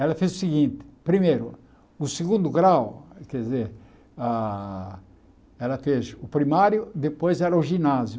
Ela fez o seguinte, primeiro, o segundo grau, quer dizer, ah ela fez o primário, depois era o ginásio.